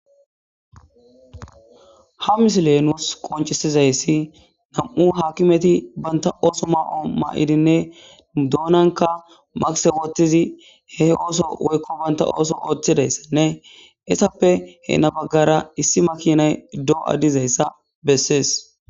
ha misiley nuus qoncisizayssi nam7u hakimeti banta ooso ma7o ma7idinne nu doonanka magise wottizi he ooso woykko banta ooso ooththidayssenne issappe heena baggara issi makinay do7a dizayssa bessees